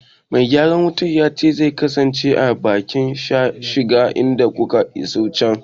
Me gyaran wutar ya ce zai kasance a bakin shiga idan kuka isa can.